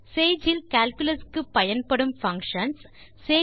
Sage இல் calculus க்கு பயன்படும் பங்ஷன்ஸ் ஐ அறிதல்